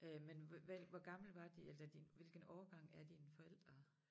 Øh men hvor gamle var de eller de hvilken årgang er dine forældre